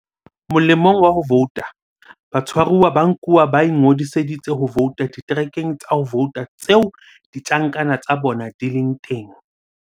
"Molemong wa ho vouta, batshwaruwa ba nkuwa ba ingodiseditse ho vouta diterekeng tsa ho vouta tseo ditjhankana tsa bona di leng teng."